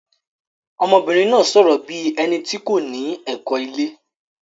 Ọmọbìnrin náà sọ̀rọ̀ bí ẹni tí kò ní ẹ̀kọ́ ilé.